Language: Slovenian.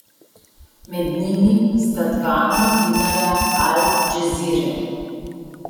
Med njimi sta dva novinarja Al Džazire.